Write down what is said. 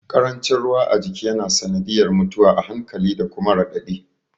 Ƙarancin ruwa a jiki ya na sanadiyar mutuwa a hankali da kuma raɗaɗi